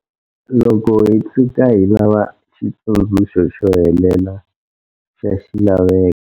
Loko hi tshuka hi lava xitsundzuxo xo helela xa xilaveko.